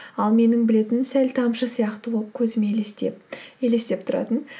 ал менің білетінім сәл тамшы сияқты болып көзіме елестеп тұратын